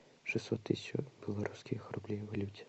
шестьсот тысяч белорусских рублей в валюте